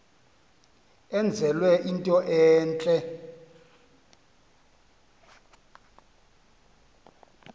enzelwe into entle